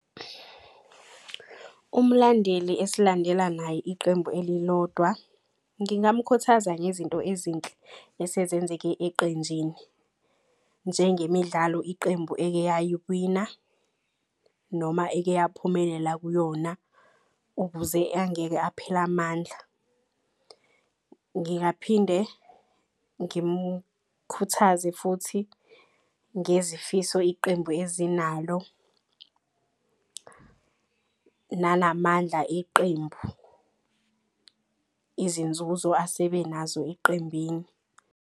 Uma mlandeli esilandela naye iqembu elilodwa, ngingamkhuthaza ngezinto ezinhle esezenzeke eqenjini. Njengemidlalo iqembu ekeyayiwina noma ekeyaphumelela kuyona. Ukuze angeke aphele amandla, ngingaphinde ngimkhuthaze futhi ngezifiso iqembu ezinalo. Nanamandla iqembu izinzuzo asebenazo eqembini.